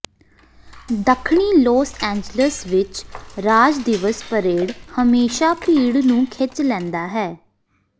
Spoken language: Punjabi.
ਦੱਖਣੀ ਲੌਸ ਏਂਜਲਸ ਵਿਚ ਰਾਜ ਦਿਵਸ ਪਰੇਡ ਹਮੇਸ਼ਾਂ ਭੀੜ ਨੂੰ ਖਿੱਚ ਲੈਂਦਾ ਹੈ